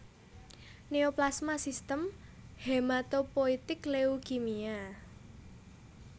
Neoplasma Sistem Hematopoietik Leukemia